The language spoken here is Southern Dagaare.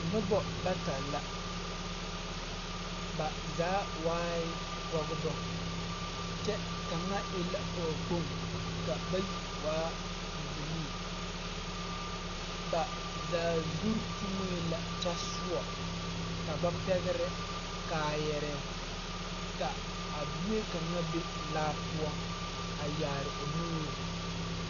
Nobɔ bata la ba zaa waae pɔgbɔ kyɛ kaŋa e la pɔɔkpoŋ ka bayi waa bibilii ba zaa zurre tuŋee la kyɛ sɔɔ ka ba pɛgrɛ kaayɛrɛɛ ka a bie kaŋa be laa poɔ a yaare o nuure'